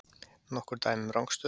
Nokkur dæmi um rangstöðu?